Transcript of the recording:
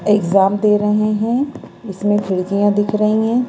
Exam दे रहे है इसमें खिड़किया दिख रही हैं।